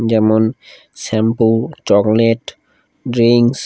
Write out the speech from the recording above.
যেমন shampoo chocolate drinks.